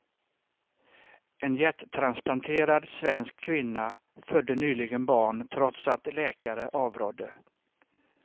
En hjärttransplanterad svensk kvinna födde nyligen barn trots att läkare avrådde.